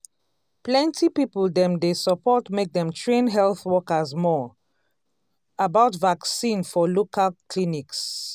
um plenty people dey support make dem train health workers more um about vaccine for local clinics.